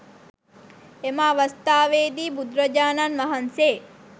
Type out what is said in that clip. එම අවස්ථාවේදී බුදුරජාණන්වහන්සේ